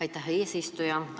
Aitäh, eesistuja!